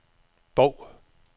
Bov